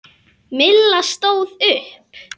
Milla stóð upp.